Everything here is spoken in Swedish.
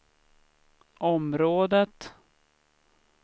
området